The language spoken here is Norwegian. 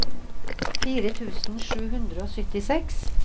fire tusen sju hundre og syttiseks